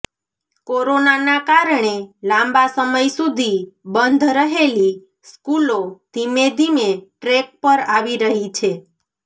કોરોનાના કારણે લાંબા સમય સુધી બંધ રહેલી સ્કૂલો ધીમે ધીમે ટ્રેક પર આવી રહી છે